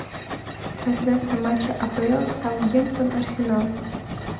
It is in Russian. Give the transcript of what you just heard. трансляция матча апл саутгемптон арсенал